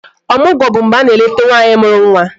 Ọmụgwọ bụ mgbe a na-eleta nwaanyị mụrụ nwa